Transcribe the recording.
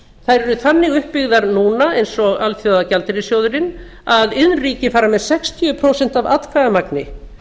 þær eru þannig uppbyggðar núna eins og alþjóðagjaldeyrissjóðurinn að iðnríkin fara með sextíu prósent af atkvæðamagni